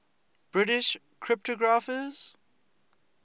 british cryptographers